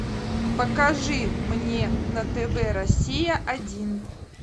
покажи мне на тв россия один